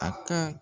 A ka